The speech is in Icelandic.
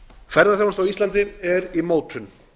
ferðaþjónusta á íslandi er í mótun